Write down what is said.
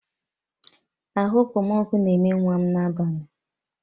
Ahu Okpomọkụ na eme nwa'm n'abalị.